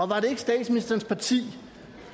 var det ikke statsministerens parti